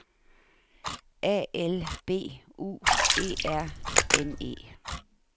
A L B U E R N E